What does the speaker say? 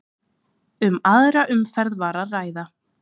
Um aðra umferð var að ræða